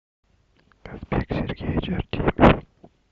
казбек сергеевич артемьев